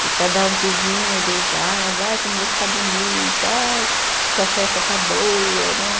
Que cada um que vinha e beijava, ai como você está bonita, ai sua festa está boa, né?